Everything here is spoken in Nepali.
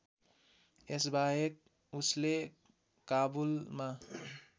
यसबाहेक उसले काबुलमा